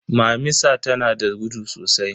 Mamisa tanada gudu sosai.